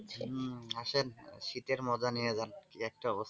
আসেন শীতের মজা নিয়ে যান.